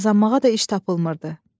Qazanmağa da iş tapılmırdı.